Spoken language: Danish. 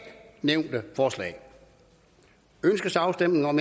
nævnte forslag ønskes afstemning om